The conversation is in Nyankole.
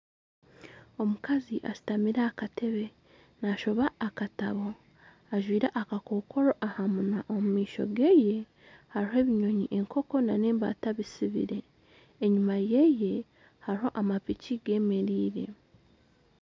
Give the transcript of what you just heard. Omukazi ashutamire aha katebe naashoma akatabo, ajwire akakokora aha munwa omu maisho ge hariho ebinyonyi enkoko n'embata bisibire, enyima ye hariho amapiki geemereire